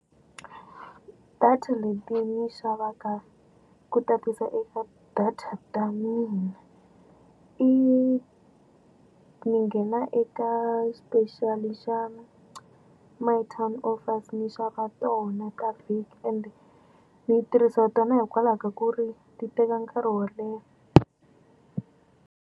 Data leti ni xavaka ku tatisa eka data ta mina i ni nghena eka special-i xa My Town Offers ni xava tona ta vhiki ende ni tirhisiwa tona hikwalaho ka ku ri ti teka nkarhi wo leha.